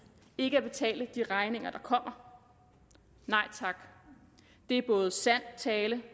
ikke at betale de regninger der kommer nej tak det er både sand tale